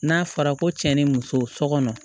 N'a fɔra ko cɛ ni muso so kɔnɔ